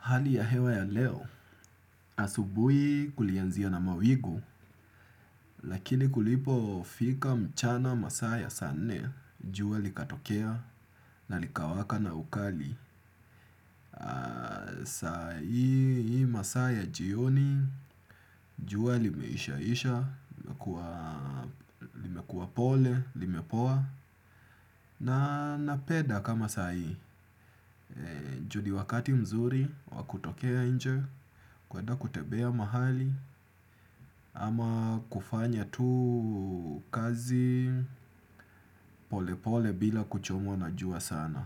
Hali ya hewa ya leo asubuhi kulianzia na mawingu lakini kulipofika mchana masaa ya nne jua likatokea na likawaka na ukali. Sa hii masaa jioni, jua limeishaisha, limekua pole, limepoa. Na napenda kama saa hii, juu ni wakati mzuri, wa kutokea nje, kweda kutembea mahali. Ama kufanya tu kazi pole pole bila kuchomwa na jua sana.